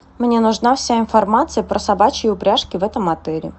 мне нужна вся информация про собачьи упряжки в этом отеле